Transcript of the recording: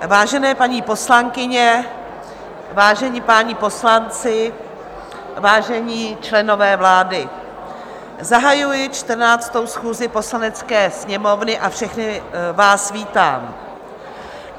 Vážené paní poslankyně, vážení páni poslanci, vážení členové vlády, zahajuji 14. schůzi Poslanecké sněmovny a všechny vás vítám.